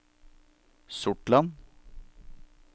Sortland